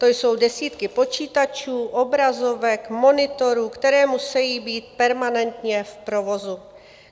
To jsou desítky počítačů, obrazovek, monitorů, které musejí být permanentně v provozu.